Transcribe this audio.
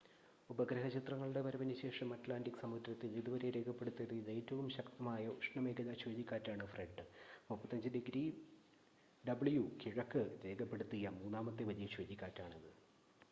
ഉപഗ്രഹ ചിത്രങ്ങളുടെ വരവിന് ശേഷം അറ്റ്ലാന്റിക് സമുദ്രത്തിൽ ഇതുവരെ രേഖപ്പെടുത്തിയതിൽ ഏറ്റവും ശക്തമായ ഉഷ്ണമേഖലാ ചുഴലിക്കാറ്റാണ് ഫ്രെഡ്. 35°w കിഴക്ക് രേഖപ്പെടുത്തിയ മൂന്നാമത്തെ വലിയ ചുഴലിക്കാറ്റാണിത്